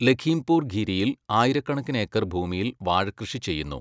ലഘീംപൂർ ഖിരിയിൽ ആയിരക്കണക്കിന് ഏക്കർ ഭൂമിയിൽ വാഴ കൃഷി ചെയ്യുന്നു.